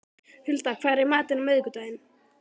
Hulda, hvað er í matinn á miðvikudaginn?